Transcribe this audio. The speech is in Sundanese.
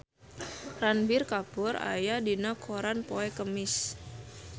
Ranbir Kapoor aya dina koran poe Kemis